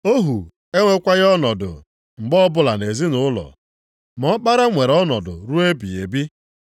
Ohu enwekwaghị ọnọdụ mgbe ọbụla nʼezinaụlọ, ma ọkpara nwere ọnọdụ ruo ebighị ebi.